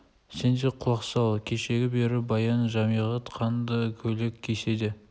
сен де құлақ сал кешелі бергі баян жәмиғат қанды көйлек кисе де